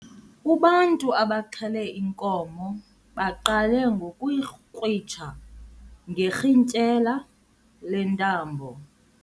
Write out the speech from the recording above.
Ubantu abaxhele inkomo baqale ngokuyikrwitsha ngerhintyela lentambo.